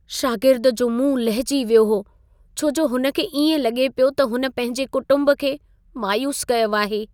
शागिर्दु जो मुंहुं लहिजी वियो हो छो जो हुन खे इएं लॻे पियो त हुन पंहिंजे कुटुंब खे मायूस कयो आहे।